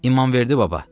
İmamverdi baba.